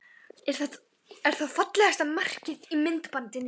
Er það fallegasta markið í myndbandinu?